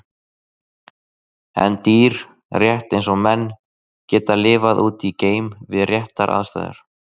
En dýr, rétt eins og menn, geta lifað úti í geim við réttar aðstæður.